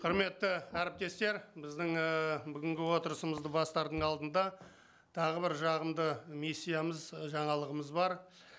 құрметті әріптестер біздің ііі бүгінгі отырысымызды бастардың алдында тағы бір жағымды миссиямыз і жаңалығымыз бар